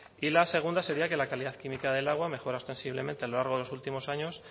y la segunda sería que la calidad química del agua mejora ostensiblemente a lo largo de los últimos años